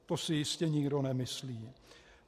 To si jistě nikdo nemyslí.